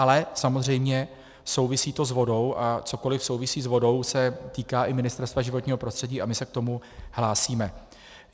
Ale samozřejmě souvisí to s vodou, a cokoli souvisí s vodou, se týká i Ministerstva životního prostředí a my se k tomu hlásíme.